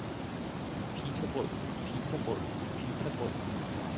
pitabrød pitabrød pitabrød